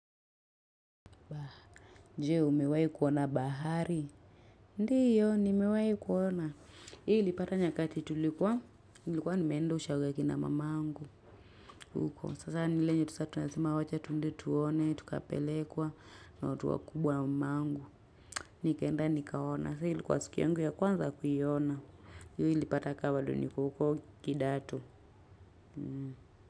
Je, umewahi kuona bahari? Ndio, nimewai kuona. Hii ilipata nyakati tulikuwa. Nilikuwa nimeenda ushago ya kina mamangu huko. Sasa ni ile yenye tu saa tunasema wacha twende tuone, tukapelekwa na watu wa kubwa na mamangu. Nikaenda nikaona. Saa hiyo likuwa siku yangu ya kwanza kuiona. Hii ilipata kaa bado niko huko kidato.